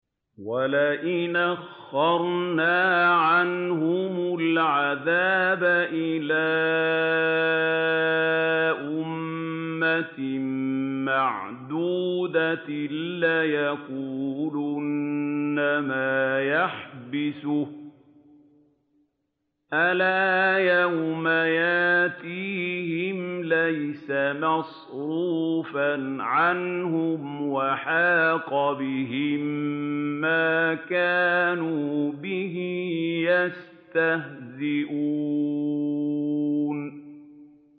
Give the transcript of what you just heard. وَلَئِنْ أَخَّرْنَا عَنْهُمُ الْعَذَابَ إِلَىٰ أُمَّةٍ مَّعْدُودَةٍ لَّيَقُولُنَّ مَا يَحْبِسُهُ ۗ أَلَا يَوْمَ يَأْتِيهِمْ لَيْسَ مَصْرُوفًا عَنْهُمْ وَحَاقَ بِهِم مَّا كَانُوا بِهِ يَسْتَهْزِئُونَ